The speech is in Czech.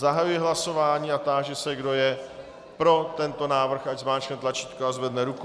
Zahajuji hlasování a táži se, kdo je pro tento návrh, ať zmáčkne tlačítko a zvedne ruku.